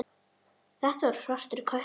Þetta var svartur köttur.